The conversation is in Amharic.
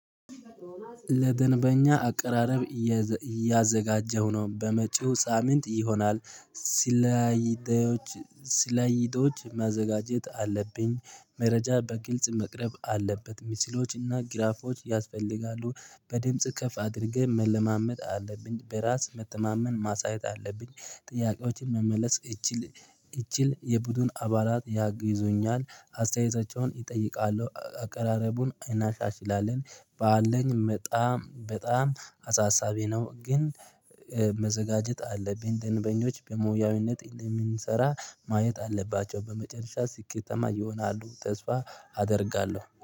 ለደንበኛ አቀራረብ እያዘጋጀሁ ነው በመጪው ሳምንት ይሆናል። ስላይዶ ስላይዶች ማዘጋጀት አለብኝ መረጃ በግልጽ መቅረብ አለበት ምስሎችና ግራፎች ያስፈልጋሉ። በድምጽ ከፍ አድርገ መለማመድ አለብኝ በራስ መተማመን ማሳየት አለብኝ። ጥያቄዎችን መመለስ እችል እችል የቡድን አባላት ያግዙኛል። አስተያየታቸውን እጠይቃለሁ አቀራረቡን እናሻሽላለን። ባለኝ በጣም በጣም አሳሳቢ ነው። ግን መዘጋጀት አለብን ደንበኞች በሙያዊነት እንደምንሰራ ማየት አለባቸው። በመጨረሻ ስኬታማ ይሆናሉ ተስፋ አደርጋለሁ